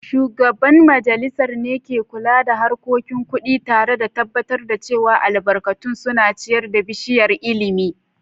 Shugaban majalisar ne ke kula da harkokin kudi, tare da tabbatar da cewa albarkatun suna ciyar da bishiyar ilimi.